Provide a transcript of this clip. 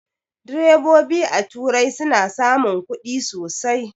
Direbobi a turai suna samun ƙudi sosai